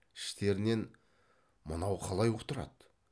іштерінен мынау қалай ұқтырады